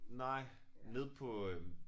Nej nede på øh